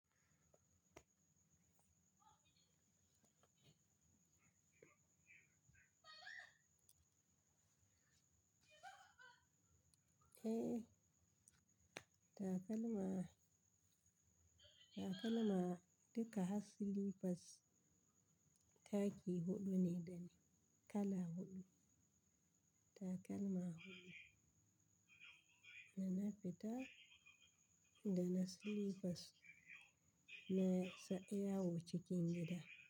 Eh, takalma, takalma duka ha silifas taki huɗu ne dane kala huɗu. Takalma huɗu. Dana fita, dana slipers na sa iyawo cikin gida.